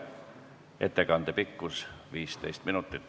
Ettekande pikkus on 15 minutit.